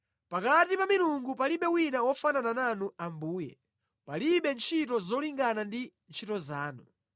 Pakati pa milungu palibe wina wofanana nanu Ambuye; palibe ntchito zolingana ndi ntchito zanu.